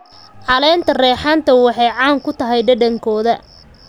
Caleenta reexaanta waxay caan ku tahay dhadhankooda.